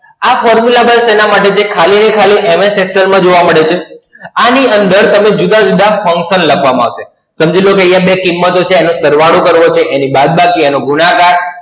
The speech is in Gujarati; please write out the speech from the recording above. આ Formula Bar શેના માટે છે? ખાલી અને ખાલી MS Excel માં જોવા મળે છે. આની અંદર તમે જુદા-જુદા Function લખવા મળશે. સમજી લો કે અહીયા બે કિમતો છે એનો સરવાળો કરવો છે, એની બાદબાકી એનો ગુણાકાર